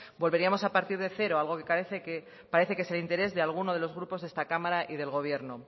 volveríamos a partir de cero algo que parece que es de interés de algunos de los grupos de esta cámara y del gobierno